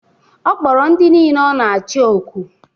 Ọ kpọrọ ndị nile ọ na-achi oku.